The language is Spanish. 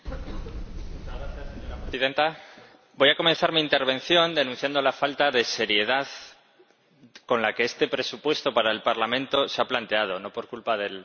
Señora Presidenta, voy a comenzar mi intervención denunciando la falta de seriedad con la que este presupuesto para el Parlamento se ha planteado, no por culpa del ponente.